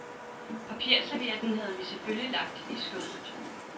Papirservietten havde vi selvfølgelig lagt i skødet.